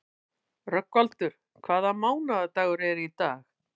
Rögnvaldur, hvaða mánaðardagur er í dag?